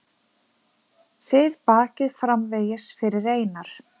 Þið bakið framvegis fyrir Einar.